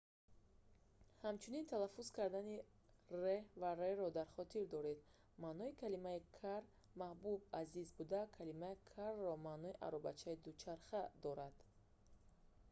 ҳамчунин талаффуз кардани r ва rr-ро дар хотир доред: маънои калимаи car"\n"маҳбуб/азиз буда калимаи carro маънои аробаи дучарха"-ро дорад